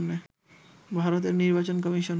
ভারতের নির্বাচন কমিশন